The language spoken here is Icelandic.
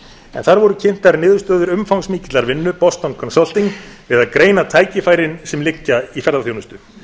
þar voru kynntar niðurstöður umfangsmikillar vinnu boston consulting við að greina tækifærin sem liggja í ferðaþjónustu